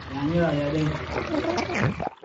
Yaanyada ayaa dhadhanka kordhiya.